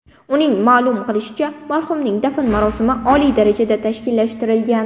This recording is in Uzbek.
Uning ma’lum qilishicha, marhumning dafn marosimi oliy darajada tashkillashtirilgan.